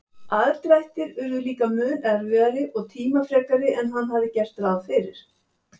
Aðdrættir urðu líka mun erfiðari og tímafrekari en hann hafði gert ráð fyrir.